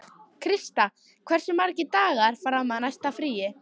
Krista, hversu margir dagar fram að næsta fríi?